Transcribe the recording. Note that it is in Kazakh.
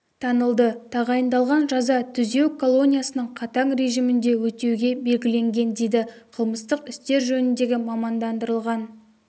танылды тағайындалған жаза түзеу колониясының қатаң режимінде өтеуге белгіленген дейді қылмыстық істер жөніндегі мамандандырылған